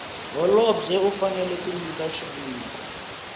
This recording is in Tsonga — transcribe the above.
holobye u fanela ku nyika